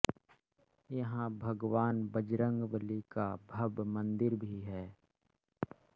यहां भगवान बजरंगबली का भव्य मंदिर भी है